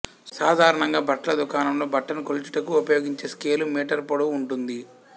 సాధారణంగా బట్టల దుకాణంలో బట్టను కొలుచుటకు ఉపయోగించే స్కేలు మీటరు పొడవు ఉంటుంది